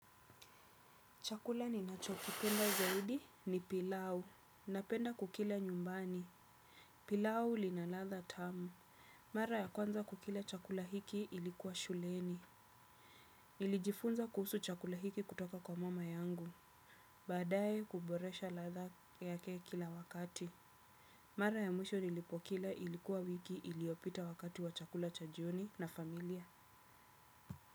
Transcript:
Chakula ninacho kipenda zaidi ni pilau. Napenda kukila nyumbani. Pilau linaladha tamu. Mara ya kwanza kukila chakula hiki ilikuwa shuleni. Nilijifunza kuhusu chakula hiki kutoka kwa mama yangu. Baadaye huboresha ladha yake kila wakati. Mara ya mwisho nilipokila ilikuwa wiki iliyopita wakati wa chakula cha jioni na familia.